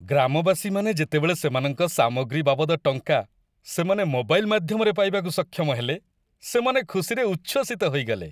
ଗ୍ରାମବାସୀମାନେ ଯେତେବେଳେ ସେମାନଙ୍କ ସାମଗ୍ରୀ ବାବଦ ଟଙ୍କା ସେମାନେ ମୋବାଇଲ୍ ମାଧ୍ୟମରେ ପାଇବାକୁ ସକ୍ଷମ ହେଲେ ସେମାନେ ଖୁସିରେ ଉଚ୍ଛ୍ଵସିତ ହୋଇଗଲେ।